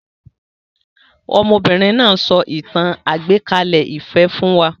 Ọmọbìnrin náà so ìtàn àgbékalẹ̀-ìfẹ́ fún wa